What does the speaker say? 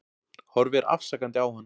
Horfir afsakandi á hann.